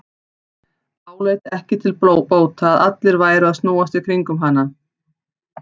Áleit ekki til bóta að allir væru að snúast í kringum hana.